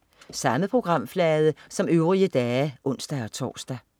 Samme programflade som øvrige dage (ons-tors)